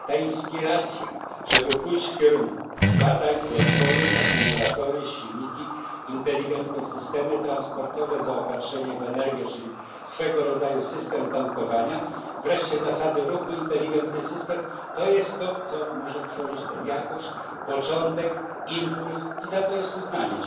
Ta inspiracja, żeby pójść w kierunku badań, rozwoju, akumulatorów, silników, inteligentnych systemów transportowych, zaopatrzenia w energię, czyli swego rodzaju systemu tankowania, wreszcie zasad ruchu, inteligentnego systemu to jest to, co może tworzyć tę jakość, początek, impuls. I za to jest uznanie.